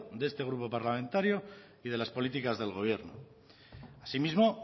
de este grupo parlamentario y de las políticas del gobierno asimismo